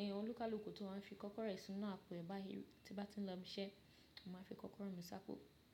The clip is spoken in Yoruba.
Ẹ̀yàn olúkalúkù ti wá ń fi kọ́kọ́rọ́ rẹ̀ sínú àpò báyìí tí bá ti ń lọ ibi iṣẹ́, màá fi kọ́kọ́rọ́ mi sáápo.